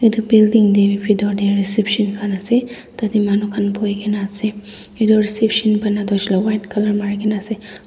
etu building te pitor te reception khan ase tate manu khan buhi kene ase etu reception bana toh hoishey koi le toh white colour mari kene ase.